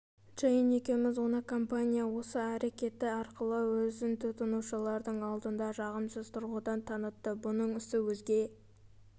джейн екеуміз оны компания осы әрекеті арқылы өзін тұтынушыларының алдында жағымсыз тұрғыдан танытты бұның соңы өзге